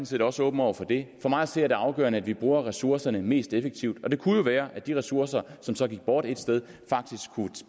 set også åben over for det for mig at se er det afgørende at vi bruger ressourcerne mest effektivt og det kunne jo være at de ressourcer som så gik bort et sted faktisk kunne